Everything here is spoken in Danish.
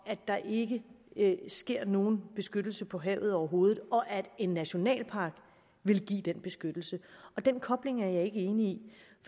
af at der ikke sker nogen beskyttelse på havet overhovedet og at en nationalpark vil give den beskyttelse og den kobling er jeg ikke enig